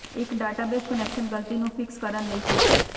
ਇੱਕ database connection ਗਲਤੀ ਨੂੰ ਫਿਕਸ ਕਰਨ ਲਈ ਕਿਸ